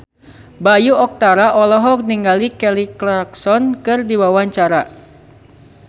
Bayu Octara olohok ningali Kelly Clarkson keur diwawancara